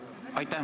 Aitäh!